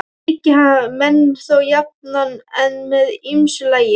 Hyggi hann menn þó jafnan en með ýmsu lagi.